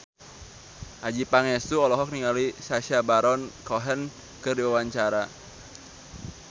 Adjie Pangestu olohok ningali Sacha Baron Cohen keur diwawancara